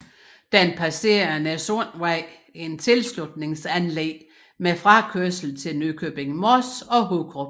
Den passere Næssundvej i et tilslutningsanlæg med frakørsel til Nykøbing Mors og Hurup